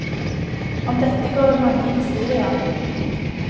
Om dette går det mange historier.